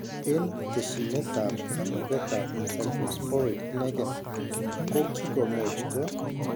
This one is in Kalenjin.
En tesyinet ab kamuget ab cyclosporine inegen kokikomuch ko